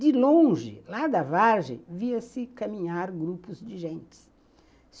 De longe, lá da vargem, via-se caminhar grupos de gentes.